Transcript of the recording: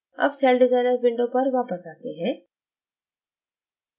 अब cell designer window पर वापस आते हैं